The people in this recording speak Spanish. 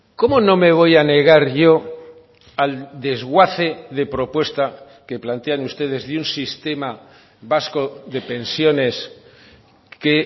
cómo no me voy a negar yo al desguace de propuesta que plantean ustedes de un sistema vasco de pensiones que